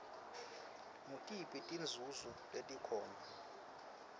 ngutiphi tinzunzo letikhona